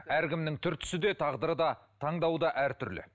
әркімнің түр түсі де тағдыры да таңдауы да әртүрлі